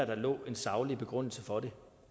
der lå en saglig begrundelse for det